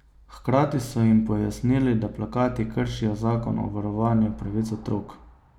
Hkrati so jim pojasnili, da plakati kršijo zakon o varovanju pravic otrok.